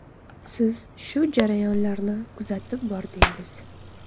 Siz shu jarayonlarni kuzatib bordingiz.